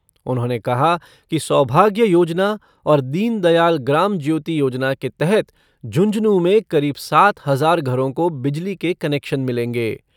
उन्होंने कहा कि सौभाग्य योजना और दीनदयाल ग्राम ज्योति योजना के तहत झुंझुनूँ में करीब सात हजार घरों को बिजली के कनेक्शन मिलेंगे।